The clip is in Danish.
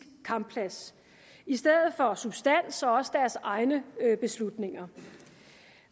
kampplads i stedet for substans og også deres egne beslutninger